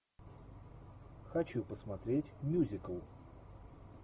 хочу посмотреть мюзикл